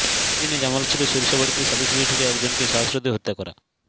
একই দিন জামালপুরের সরিষাবাড়ীতে সালিস বৈঠকে একজনকে শ্বাসরোধে হত্যা করা